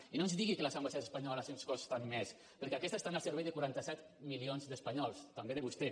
i no ens digui que les ambaixades espanyoles ens costen més perquè aquestes estan al servei de quaranta set milions d’espanyols també de vostè